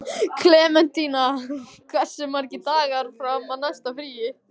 Klementína, hversu margir dagar fram að næsta fríi?